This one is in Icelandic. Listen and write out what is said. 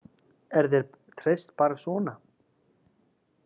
Er þér treyst bara svona?